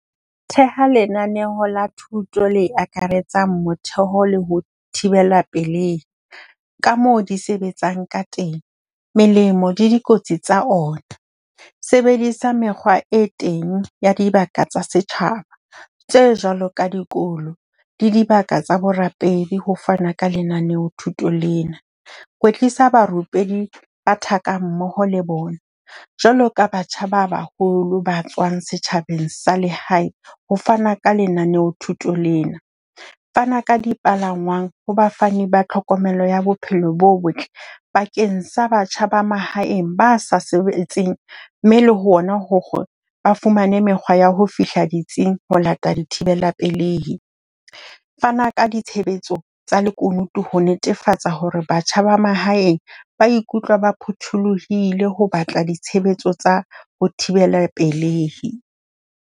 Theha lenaneo la thuto le akaretsang motheo le ho thibela pelei ka moo di sebetsang ka teng. Melemo le dikotsi tsa ona. Sebedisa mekgwa e teng ya dibaka tsa setjhaba tse jwalo ka dikolo le dibaka tsa borapedi ho fana ka lenaneo thuto lena. Kwetlisa barupelli ba thakammoho le bona jwaloka batjha ba baholo ba tswang setjhabeng sa lehae ho fana ka lenaneo thuto lena. Fana ka dipalangwang ho bafani ba tlhokomelo ya bophelo bo botle bakeng sa batjha ba mahaeng, ba sa sebetseng. Mme le hona hore ba fumane mekgwa ya ho fihla ditsing, ho lata thibela pelei. Fana ka ditshebetso tsa lekunutu ho netefatsa hore batjha ba mahaeng ba ikutlwa ba phutholohile ho batla ditshebetso tsa ho thibela pelei.